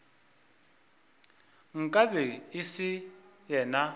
nka be e se yena